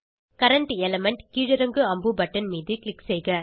current element கீழிறங்கு அம்பு button மீது க்ளிக் செய்க